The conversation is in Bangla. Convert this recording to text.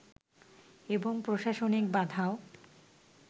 এবং প্রশাসনিক বাধাও